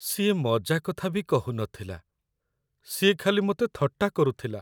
ସିଏ ମଜାକଥା ବି କହୁନଥିଲା, ସିଏ ଖାଲି ମତେ ଥଟ୍ଟା କରୁଥିଲା ।